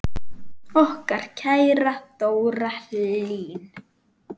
Okkar kæra Dóra Hlín.